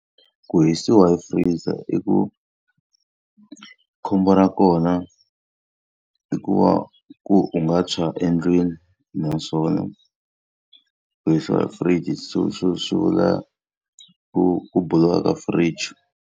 Ku hisiwa hi freezer i ku khombo ra kona, i ku va ku u nga tshwa endlwini. Naswona ku hisiwa hi fridge swi vula ku ku buluka ka fridge.